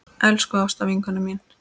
Elsku Ásta vinkona mín.